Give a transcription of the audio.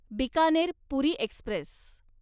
Bikaner Puri Express